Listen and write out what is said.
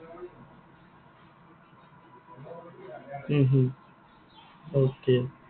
um hmm okay